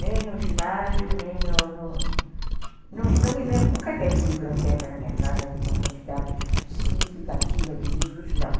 Nem no ginásio, nem no no... Não me lembro, nunca teve biblioteca na minha casa de uma quantidade significativa de livros, não.